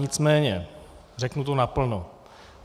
Nicméně řeknu to naplno.